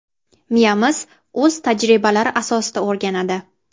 Miyamiz o‘z tajribalari asosida o‘rganadi.